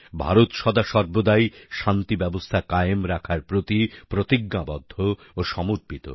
ভারত সদাসর্বদাই শান্তি ব্যবস্থা কায়েম রাখার প্রতি প্রতিজ্ঞাবদ্ধ ও সমর্পিত